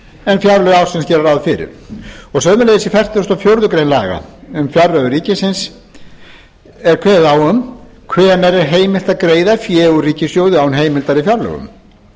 en fjárlög ársins gera ráð fyrir í fertugustu og fjórðu grein laga um fjárreiður ríkisins kemur fram hvenær er heimilt að greiða fé úr ríkissjóði án heimildar í fjárlögum